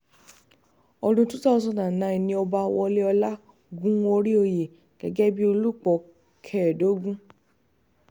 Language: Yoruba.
ọdún two thousand and nine ni ọba woléọlá gun orí oyè gẹ́gẹ́ bíi olùpọ̀ kẹẹ̀ẹ́dógún